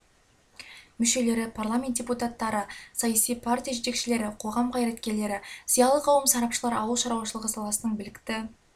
мүшелері парламент депутаттары саяси партия жетекшілері қоғам қайраткерлері зиялы қауым сарапшылар ауыл шаруашылығы саласының білікті